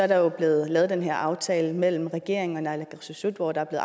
der jo blevet lavet den her aftale mellem regeringen og naalakkersuisut hvor der er